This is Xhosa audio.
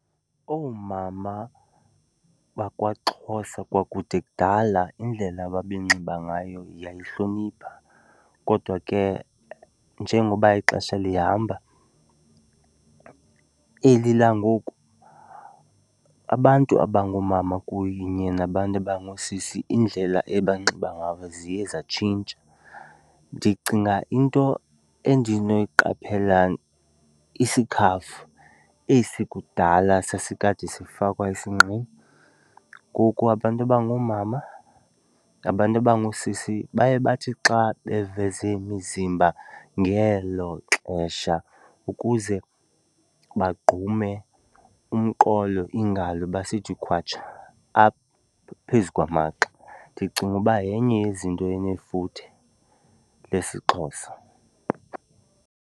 Oomama bakwaXhosa kwakude kudala indlela ababenxiba ngayo yayihlonipha kodwa ke njengoba ixesha lihamba eli langoku abantu abangoomama kunye nabantu abangoosisi indlela abanxiba ngayo ziye zatshintsha. Ndicinga into endinoyiqaphela isikhafu esi kudala sasikade sifakwa esinqeni, ngoku abantu abangoomama nabantu abangoosisi baye bathi xa beveze imizimba ngelo xesha ukuze bagqume umqolo, iingalo, basithi khwatsha apha phezu kwamagxa. Ndicinga uba yenye yezinto enefuthe lesiXhosa.